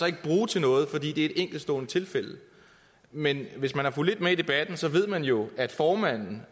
ikke bruge til noget for det er et enkeltstående tilfælde men hvis man har fulgt lidt med i debatten ved man jo at formanden